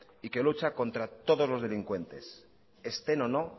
y que lucha contra todos los delincuentes estén o no